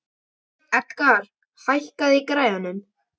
Edgar, hækkaðu í græjunum.